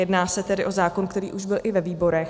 Jedná se tedy o zákon, který byl už i ve výborech.